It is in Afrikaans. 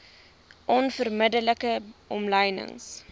onverbidde like omlynings